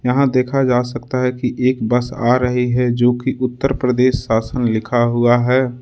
यहां देखा जा सकता है कि एक बस आ रही है जो कि उत्तर प्रदेश शासन लिखा हुआ है।